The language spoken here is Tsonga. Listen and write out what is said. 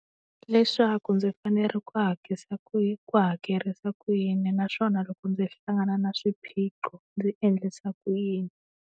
Leswaku ndzi fanele ku ku hakerisa ku yini naswona loko ndzi hlangana na swiphiqo, ndzi endlisa ku yini.